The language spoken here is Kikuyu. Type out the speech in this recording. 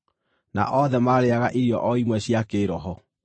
Na othe maarĩĩaga irio o imwe cia kĩĩroho,